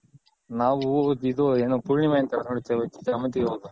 ನಾವು ಇದು ಏನು ಪೂರ್ಣಿಮೆ ಅಂತಾರ್ ನೋಡಿ ಸಾಮಂತಿಗೆ ಹೂ ದು.